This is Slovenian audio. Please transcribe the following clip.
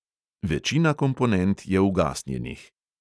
Večina komponent je ugasnjenih.